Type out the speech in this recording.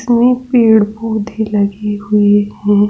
इसमें पेड़ पौधे लगे हुए है।